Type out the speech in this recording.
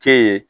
Kɛ ye